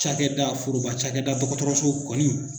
Cakɛda foroba cakɛda dɔgɔtɔrɔso kɔni.